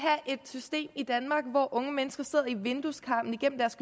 et system i danmark hvor unge mennesker sidder i vindueskarmen igennem deres